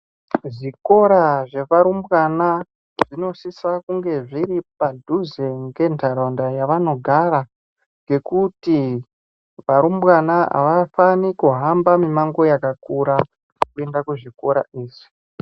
Zvikora zvevarumbwana zvinosisa kunge zviripadhuze ngentaraunda yavanogara. Ngekuti varumbwana havafani kuhamba mimango yakakura kuenda kuzvikora izvi.